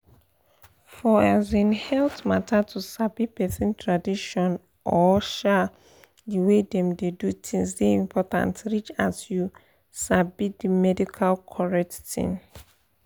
for um health mata to sabi person tradition or um the way dem dey do things dey important reach as you sabi the medical correct thing.